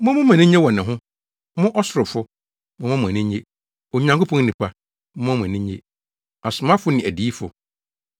“Momma mo ani nnye wɔ ne ho, mo ɔsorofo! Momma mo ani nnye, Onyankopɔn nnipa! Momma mo ani nnye, asomafo ne adiyifo! Efisɛ Onyankopɔn abu no atɛn.”